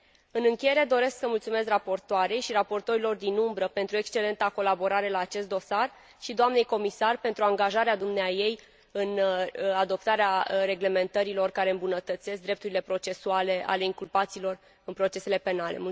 În încheiere, doresc să mulțumesc raportoarei și raportorilor din umbră pentru excelenta colaborare la acest dosar, și doamnei comisar pentru angajarea dumneaei în adoptarea reglementărilor care îmbunătățesc drepturile procesuale ale inculpaților în procesele penale.